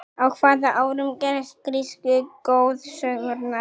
á hvaða árum gerast grísku goðsögurnar